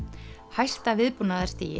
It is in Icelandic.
hæsta